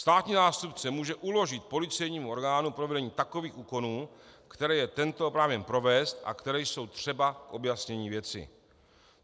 Státní zástupce může uložit policejnímu orgánu provedení takových úkonů, které je tento oprávněn provést a které jsou třeba k objasnění věci.